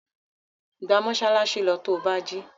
Gba mọ́ṣáláṣí lọ to bá jí!